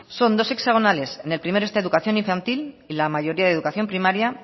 son dos hexagonales en el primero está educación infantil y la mayoría de educación primaria